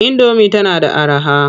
Indomi tana da araha.